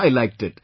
I liked it